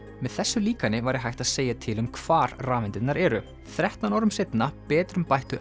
með þessu líkani væri hægt að segja til um hvar rafeindirnar eru þrettán árum seinna betrumbættu